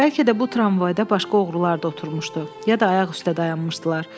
Bəlkə də bu tramvayda başqa oğrular da oturmuşdu, ya da ayaq üstə dayanmışdılar.